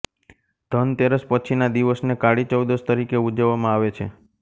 ધન તેરસ પછીનાં દિવસને કાળી ચૌદશ તરિકે ઉજવવામાં આવે છે